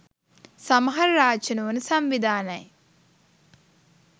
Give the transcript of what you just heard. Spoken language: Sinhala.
සමහර රාජ්‍ය නොවන සංවිධානයි